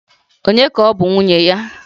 Ònye ka ọ bụ nwunye ya?